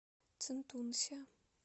цинтунся